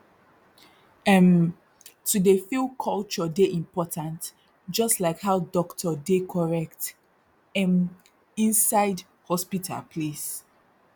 erm to dey feel culture dey important jus like how dokto dey correct erm inside hospital place